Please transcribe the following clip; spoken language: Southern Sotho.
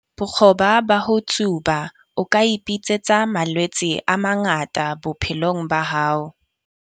Bokgoba ba ho tsuba. O ka ipitsetsa malwetse a mangata bophelong ba hao.